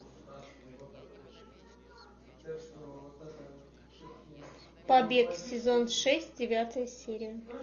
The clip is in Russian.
побег сезон шесть девятая серия